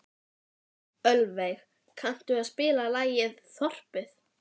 Ölveig, kanntu að spila lagið „Þorpið“?